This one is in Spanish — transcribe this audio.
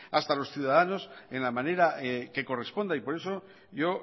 hasta los ciudadanos en la manera que corresponda y por eso yo